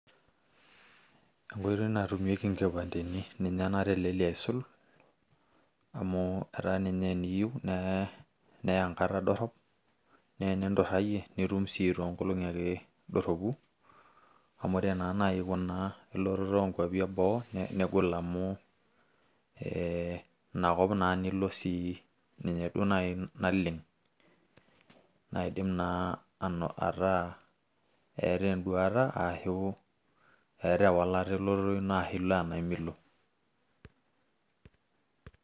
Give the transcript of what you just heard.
Enkoitoi natumieki inkipandeni ninye natelelia aisul. Amu etaa ninye eniyieu neya enkata dorrop, na eninturrayie, nitum si toonkolong'i ake dorropu, amu ore na nai kuna elototo onkwapi eboo, negol amu, eh inakop nai nilo si, ninye duo nai naleng',naidim naa ataa eeta eduata ashu eeta ewalata elototo ino ashu ilo enaa milo.